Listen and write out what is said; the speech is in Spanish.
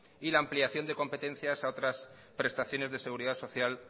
y la ampliación de competencias a otras prestaciones de seguridad social